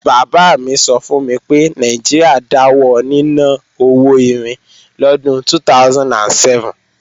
Bàbá mi sọ fún mi pé Nàìjíríà dáwọ níná owó irin lọ́dún 2007